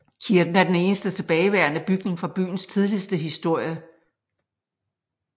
Kirken er den eneste tilbageværende bygning fra byens tidligste historie